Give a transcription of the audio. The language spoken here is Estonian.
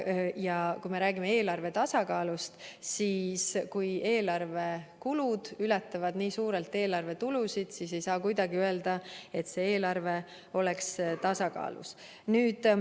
Ja kui me räägime eelarve tasakaalust, siis kui eelarve kulud ületavad nii suurelt eelarve tulusid, siis ei saa kuidagi öelda, et see eelarve oleks tasakaalus.